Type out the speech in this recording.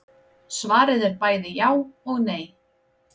Svarið er bæði já og nei.